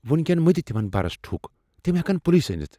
وٕنۍ کٮ۪ن مہ دِ تمن برس ٹھکھ۔ تم ہٮ۪کن پلسہٕ أنتھ۔